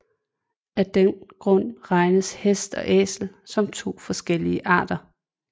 Af den grund regnes hest og æsel som to forskellige arter